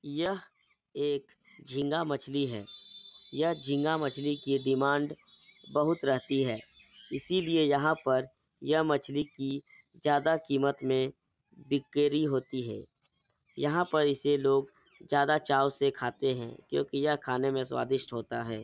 यह एक झींगा मछली है यह झींगा मछली की डिमांड बहोत रहती है इसीलिए यहाँ पर यह मछली की ज्यादा कीमत में बिक्री होती है यहाँ पर इसे लोग ज्यादा चाव से खाते हैं क्यूंकि यह खाने में स्वादिष्ट होता है।